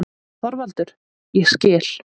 ÞORVALDUR: Ég skil.